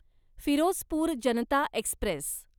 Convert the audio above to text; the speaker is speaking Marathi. फिरोजपूर जनता एक्स्प्रेस